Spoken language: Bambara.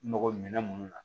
Mɔgɔ minɛn minnu na